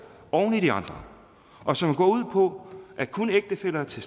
oven i de andre og som går ud på at kun ægtefæller til